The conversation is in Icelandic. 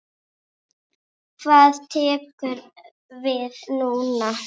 Hvað tekur við núna?